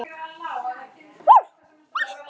Þá það!